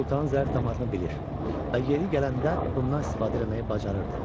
Sultanın zərif damarını bilir və yeri gələndə bundan istifadə eləməyi bacarırdı.